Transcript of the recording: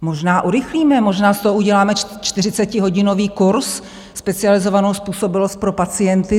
Možná urychlíme, možná z toho uděláme čtyřicetihodinový kurz - specializovanou způsobilost pro pacienty.